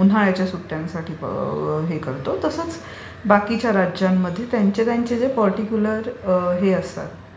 उन्हाळ्याच्या सुट्ट्यांसाठी हे करतो तसच बाकीच्या राज्यांमध्ये त्यांचे त्यांचे जे पर्टीक्युलर हे असतात...